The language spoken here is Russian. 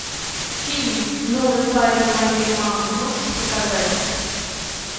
фильм новый парень моей мамы можешь показать